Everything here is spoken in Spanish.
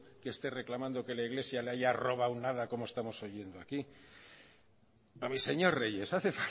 que esté reclamando que la iglesia la haya robado nada como estamos oyendo aquí a mi señor reyes hace